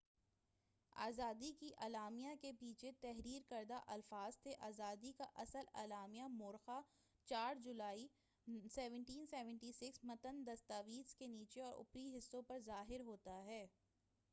آزادی کے اعلامیہ کے پیچھے تحریر کردہ الفاظ تھے آزادی کا اصل اعلامیہ مورخہ 4 جولائی 1776 متن دستاویز کے نیچے اور اوپری حصہ پر ظاہر ہوتا ہے